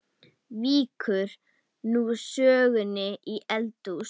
Víkur nú sögunni í eldhús.